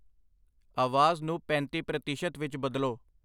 ਆਵਾਜ਼ ਨੂੰ ਪੈਂਤੀ ਪ੍ਰਤੀਸ਼ਤ ਵਿੱਚ ਬਦਲੋ।